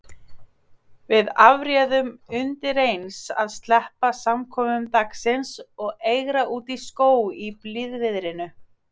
Við afréðum undireins að sleppa samkomum dagsins og eigra útí skóg í blíðviðrinu.